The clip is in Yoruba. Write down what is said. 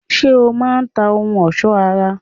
Ṣé o má a n ta ohun òsó ara?